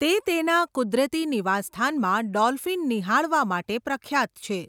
તે તેના કુદરતી નિવાસસ્થાનમાં ડોલ્ફિન નિહાળવા માટે પ્રખ્યાત છે.